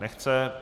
Nechce.